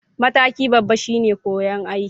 Mataki babba shine koya aiki